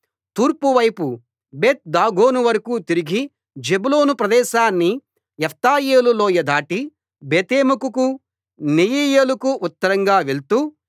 తూర్పు వైపు బేత్ దాగోను వరకూ తిరిగి జెబూలూను ప్రదేశాన్ని యిప్తాయేలు లోయ దాటి బేతేమెకుకు నెయీయేలుకు ఉత్తరంగా వెళ్తూ